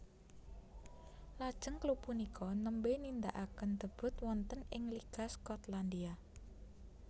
Lajeng klub punika nembè nindakaken debut wonten ing Liga Skotlandia